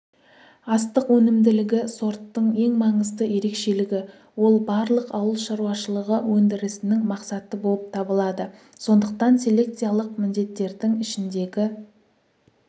астық өнімділігі сорттың ең маңызды ерекшелігі ол барлық ауылшаруашылығы өндірісінің мақсаты болып табылады сондықтан селекциялық міндеттердің ішіндегі